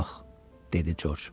Yox, dedi Corc.